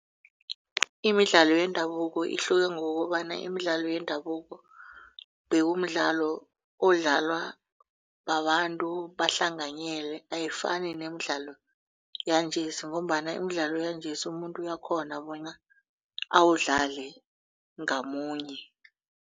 Imidlalo yendabuko ihluke ngokobana imidlalo yendabuko bekumidlalo odlalwa babantu bahlanganyele ayifani nemidlalo yanjesi ngombana imidlalo yanjesi umuntu uyakghona bona awudlale ngamunye.